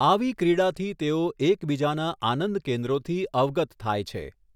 આવી ક્રીડાથી તેઓ એકબીજાનાં આનંદ કેન્દ્રોથી અવગત થાય છે.